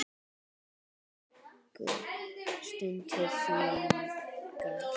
Stundi þungan.